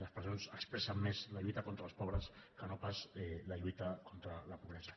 les presons expressen més la lluita contra els pobres que no pas la lluita contra la pobresa